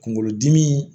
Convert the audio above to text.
Kunkolodimi